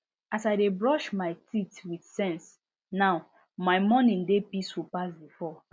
as i dey brush my teeth with sense now my morning dey peaceful pass before